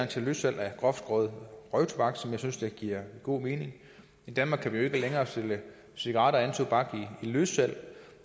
til løssalg af groftskåret røgtobak som jeg synes giver god mening i danmark kan vi jo ikke længere sælge cigaretter og anden tobak i løssalg